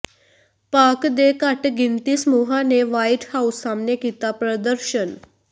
ਪਾਕਿ ਦੇ ਘੱਟ ਗਿਣਤੀ ਸਮੂਹਾਂ ਨੇ ਵ੍ਹਾਈਟ ਹਾਊਸ ਸਾਹਮਣੇ ਕੀਤਾ ਪ੍ਰਦਰਸ਼ਨ